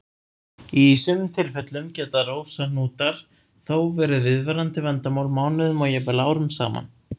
Í sumum tilfellum geta rósahnútar þó verið viðvarandi vandamál mánuðum og jafnvel árum saman.